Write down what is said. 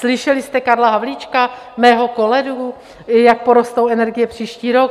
Slyšeli jste Karla Havlíčka, mého kolegu, jak porostou energie příští rok?